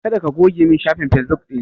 Kada ka goge min shafin fesbuk ɗina!